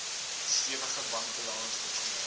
stewige bankbalans opgebou